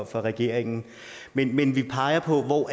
for regeringen men men vi peger på hvor